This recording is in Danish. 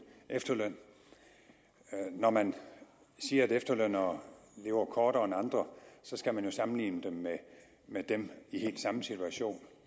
efterløn når man siger at efterlønnere lever kortere end andre så skal man jo sammenligne dem med dem i helt samme situation